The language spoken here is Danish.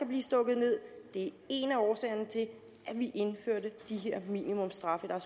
blive stukket ned en af årsagerne til at vi indførte de her minimumsstraffe var